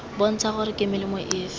bontsha gore ke melemo efe